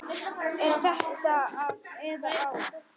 Er þetta af eða á?